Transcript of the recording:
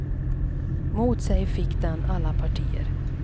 Mot sig fick den alla partier.